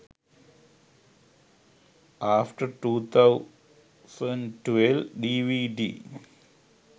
after 2012 dvd